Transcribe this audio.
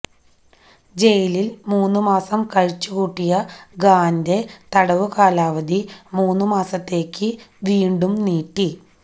ജയിലിൽ മൂന്നുമാസം കഴിച്ചുകൂട്ടിയ ഖാന്റെ തടവുകാലാവധി മൂന്നുമാസത്തേക്ക് വീണ്ടും നീട്ടി